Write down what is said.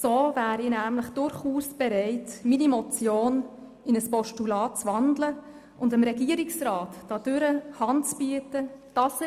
So wäre ich nämlich durchaus bereits, meine Motion in ein Postulat zu wandeln und dem Regierungsrat dadurch Hand zu bieten, dass,